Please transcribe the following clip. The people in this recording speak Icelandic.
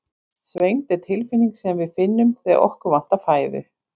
Svengd er tilfinning sem við finnum þegar okkur vantar fæðu.